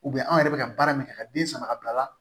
U bɛ anw yɛrɛ bɛ ka baara min kɛ ka den sama ka bila la